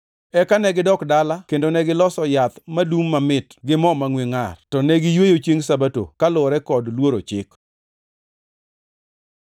Eka negidok dala kendo negiloso yath madum mamit gi mo mangʼwe ngʼar. To ne giyweyo Chiengʼ Sabato kaluwore kod luoro chik.